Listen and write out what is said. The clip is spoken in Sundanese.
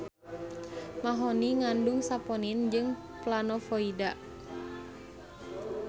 Mahoni ngandung saponin jeung planovoida